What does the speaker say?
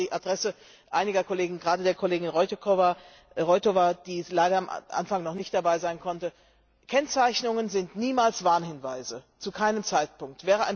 Das sage ich auch an die Adresse einiger Kollegen, gerade der Kollegin Roithová, die leider am Anfang noch nicht dabei sein konnte Kennzeichnungen sind niemals Warnhinweise, zu keinem Zeitpunkt!